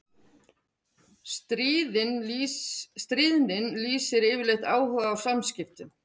Stríðnin lýsir yfirleitt áhuga á samskiptum.